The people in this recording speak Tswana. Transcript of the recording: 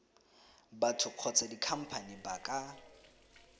batho kgotsa dikhamphane ba ka